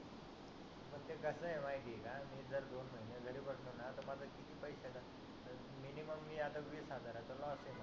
ते कस आहे माहिती आहे का मी जर दोन महीने घरी बसलो ना तर माझ पैसयाच मिनिमम मी आता वीस हजाराचा लॉस मध्ये आहे